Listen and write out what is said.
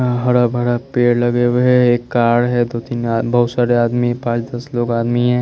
हाँ हरा भरा पेड़ लगे हुए है एक कार है दो तीन आ बहुत सारे आदमी पांच दस लोग आदमी है।